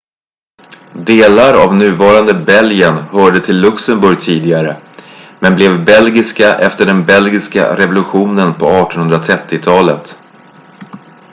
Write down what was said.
delar av nuvarande belgien hörde till luxemburg tidigare men blev belgiska efter den belgiska revolutionen på 1830-talet